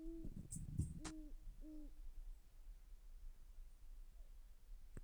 ntobira ntokitin nayieu negila, ngurai shumata enkaji, nketai,o direen peyie idol tena kewo o bloke